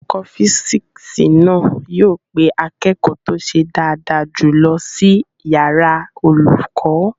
Olùkọ́ físìksì náà yóò pe akẹ́kọ̀ọ́ tó ṣe dáadáa jùlọ sí yàrá olùkọ́